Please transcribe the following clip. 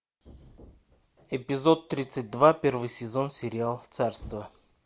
эпизод тридцать два первый сезон сериал царство